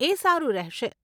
એ સારું રહેશે.